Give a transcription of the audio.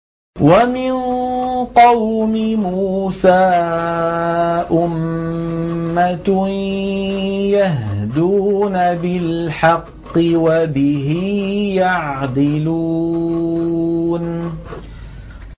وَمِن قَوْمِ مُوسَىٰ أُمَّةٌ يَهْدُونَ بِالْحَقِّ وَبِهِ يَعْدِلُونَ